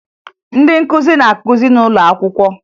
Ndị nkụzi na-akụzi n'ụlọ akwụkwọ